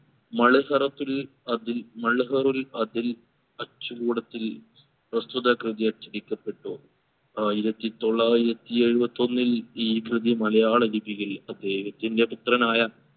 മളുഹറത്തിൽ അതിൽ മളുഹറുൽ അതിൽ അച്ചുകൂടത്തിൽ പ്രസ്തുത കൃതി അച്ചടിക്കപെട്ടു ആയിരത്തി തൊള്ളായിരത്തി എഴുപത്തി ഒന്നിൽ ഈ കൃതി മലയാള ലിപിയിൽ അദ്ദേഹത്തിൻറെ പുത്രനായ